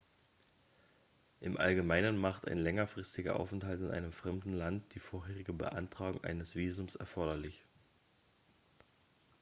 im allgemeinen macht ein längerfristiger aufenthalt in einem fremden land die vorherige beantragung eines visums erforderlich